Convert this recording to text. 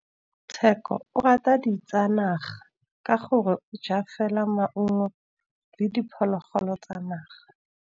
Tshekô o rata ditsanaga ka gore o ja fela maungo le diphologolo tsa naga.